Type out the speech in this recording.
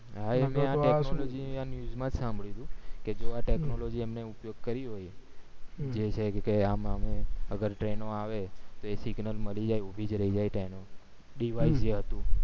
આ news માં સાભળ્યું તું જો આ technology નો ઉપયોગ કરી હોય જેચે કે આમ શું અગર train ઓ આવે signal મળી જાય ઉભી જ રય જાય train ઉ device એ હતું